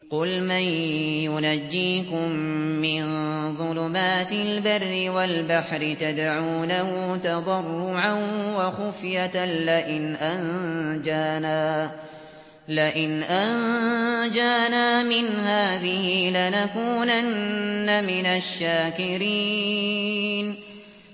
قُلْ مَن يُنَجِّيكُم مِّن ظُلُمَاتِ الْبَرِّ وَالْبَحْرِ تَدْعُونَهُ تَضَرُّعًا وَخُفْيَةً لَّئِنْ أَنجَانَا مِنْ هَٰذِهِ لَنَكُونَنَّ مِنَ الشَّاكِرِينَ